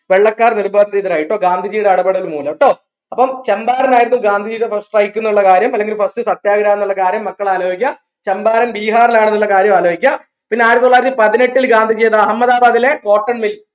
വെള്ളക്കാർ നിർബാധിതരായി ട്ടോ ഗാന്ധിജിയുടെ എടപെടൽ മൂലം ട്ടോ അപ്പം ചമ്പാരൻ ആയിരുന്നു ഗാന്ധിജിയുടെ first strike ന്ന്ള്ള കാര്യം അല്ലെങ്കിൽ first സത്യാഗ്രഹം ന്ന്ള്ള കാര്യം മക്കൾ ആലോയ്ക്ക ചമ്പാരൻ ബിഹാറിലാണ്ന്ന്ള്ള കാര്യോ ആലോയിക്ക പിന്നെ ആയിരത്തിത്തൊള്ളായിരത്തി പതിനെട്ടിൽ ഗാന്ധിജി ചെയ്ത അഹമ്മദാബാദിലെ cotton mill